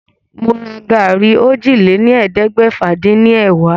Mo ra gàrí ọ́jilélẹ́ẹ̀ẹ́dẹ́gbẹ́fà-dín-ní- ẹ̀wá.